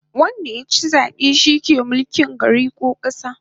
Wanda yachi zabe shi ke mulkin gari ko kasa